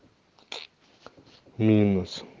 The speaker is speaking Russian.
минус